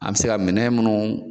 An bɛ se ka minɛ minnu